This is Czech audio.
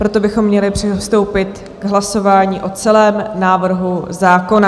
Proto bychom měli přistoupit k hlasování o celém návrhu zákona.